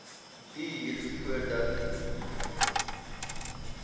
duur voordat u